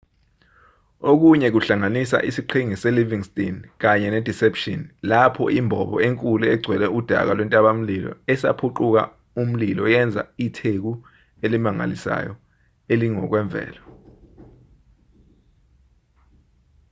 okunye kuhlanganisa isiqhingi selivingston kanye nedeception lapho imbobo enkulu egcwele udaka lwentabamlilo esaphuquka umlilo yenza itheku elimangalisayo elingokwemvelo